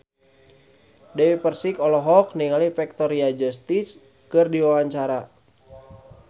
Dewi Persik olohok ningali Victoria Justice keur diwawancara